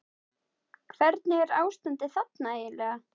Hvernig er ástandið þarna eiginlega?